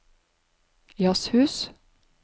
jazzhus